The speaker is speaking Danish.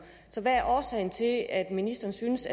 så hvad er årsagen til at ministeren syntes